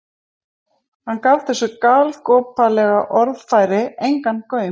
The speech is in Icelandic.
Hann gaf þessu galgopalega orðfæri engan gaum.